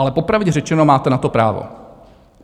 Ale popravdě řečeno, máte na to právo.